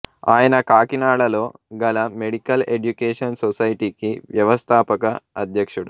ఆయన కాకినాడలో గల మెడికల్ ఎడ్యుకేషన్ సొసైటీకి వ్యవస్థాపక అధ్యక్షుడు